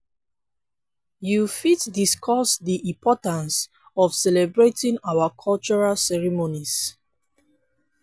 you fit discuss di importance of celebrating our cultural ceremonies.